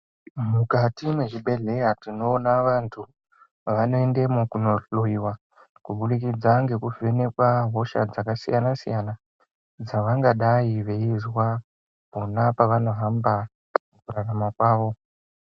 Mukati mwezvibhedhleya tinoona vantu vanoendemwo kunohloyiwa, kubudikidza ngekuvhenekwa hosha dzakasiyana siyana dzevangadai veizwa pona pavanohamba mukurarama kwavo.